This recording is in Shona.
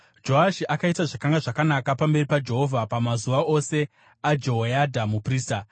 Joashi akaita zvakanga zvakanaka pamberi paJehovha pamazuva ose aJehoyadha muprista.